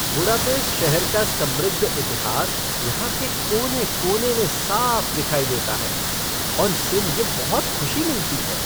Budapest शहर का समृद्ध इतिहास यहाँ के कोने कोने में साफ दिखाई देता है, और इससे मुझे बहुत खुशी मिलती है।